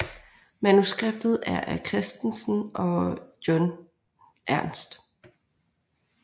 Manuskriptet er af Kristensen og John Ernst